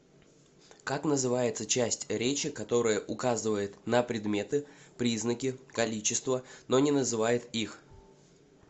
как называется часть речи которая указывает на предметы признаки количество но не называет их